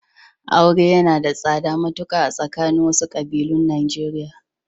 Aure yana da tsada matuƙa a tsakanin wasu ƙabilun Najeriya.